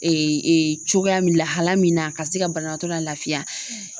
cogoya min lahala min na ka se ka banabaatɔ la lafiya